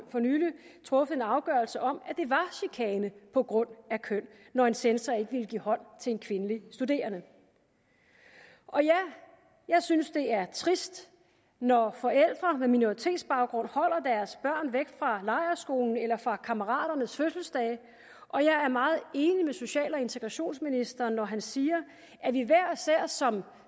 truffet en afgørelse om at det var chikane på grund af køn når en censor ikke ville give hånd til en kvindelig studerende og ja jeg synes det er trist når forældre med minoritetsbaggrund holder deres børn væk fra lejrskolen eller fra kammeraternes fødselsdage og jeg er meget enig med social og integrationsministeren når han siger at vi hver især som